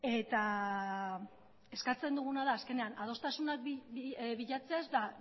eta eskatzen duguna da azkenean adostasunak bilatzea ez da